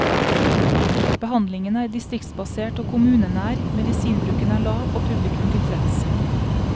Behandlingen er distriktsbasert og kommunenær, medisinbruken er lav og publikum tilfreds.